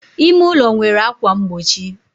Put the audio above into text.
ime ụlọ nwere ákwà mgbochi